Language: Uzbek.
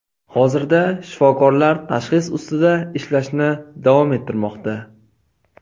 Hozirda shifokorlar tashxis ustida ishlashni davom ettirmoqda.